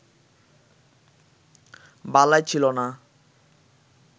বালাই ছিলনা